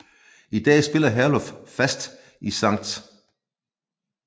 I dag spiller Herluf fast i Sct